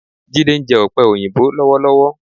Jídé ń jẹ ọ̀pẹ òyìnbó lọ́wọ́lọ́wọ́.